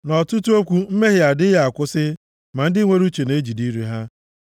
Nʼọtụtụ okwu mmehie adịghị akwụsị ma ndị nwere uche na-ejide ire ha.